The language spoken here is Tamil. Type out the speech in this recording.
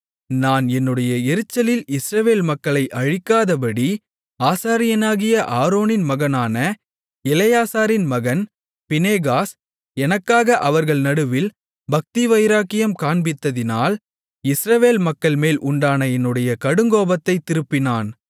நான் என்னுடைய எரிச்சலில் இஸ்ரவேல் மக்களை அழிக்காதபடி ஆசாரியனாகிய ஆரோனின் மகனான எலெயாசாரின் மகன் பினெகாஸ் எனக்காக அவர்கள் நடுவில் பக்திவைராக்கியம் காண்பித்ததினால் இஸ்ரவேல் மக்கள்மேல் உண்டான என்னுடைய கடுங்கோபத்தை திருப்பினான்